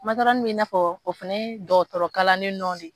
Matɔrɔni bɛ in'a fɔ o fɛnɛ ye dɔgɔtɔrɔkalanen nɔ ne.